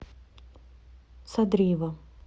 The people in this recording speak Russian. садриева